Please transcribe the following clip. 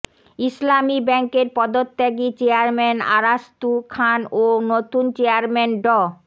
ইসলামী ব্যাংকের পদত্যাগী চেয়ারম্যান আরাস্তু খান ও নতুন চেয়ারম্যান ড